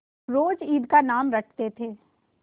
रोज ईद का नाम रटते थे